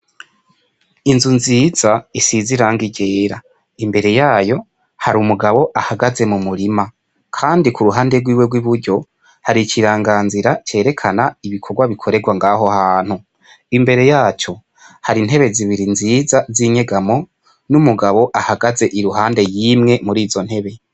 Inzu nziza isize irangi ryera, imbere yayo hari umugabo ahagaze m'umurima, kandi k'uruhande rwiwe rw'iburyo, hari ikiranga nzira cerekana ibikorwa bikorerwa ngaho hantu, imbere yaco hari intebe zibiri nziza zinyegamo, n'umugabo ahagaze iruhande yimwe muri izo ntebe.